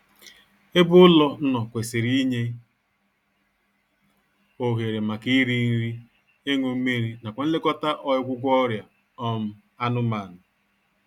Ebe ụlọ nọ kwesịrị inye ohere maka iri nri, ịñụ mmiri nakwa nlekọta ọịgwụgwọ ọrịa um anụmanụ